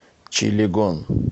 чилегон